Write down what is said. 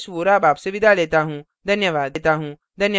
अब हम इस tutorial के अंत में आ गये हैं